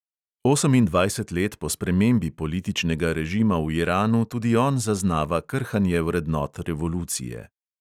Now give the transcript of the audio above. Osemindvajset let po spremembi političnega režima v iranu tudi on zaznava krhanje vrednot revolucije.